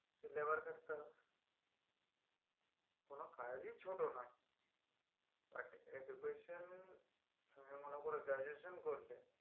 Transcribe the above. কোনো কাজই ছোট নই education তুমি মনে করো graduation করলে